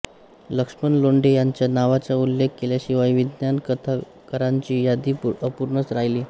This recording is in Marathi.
लक्ष्मण लोंढे यांच्या नावाचा उल्लेख केल्याशिवाय विज्ञान कथाकारांची यादी अपूर्णच राहील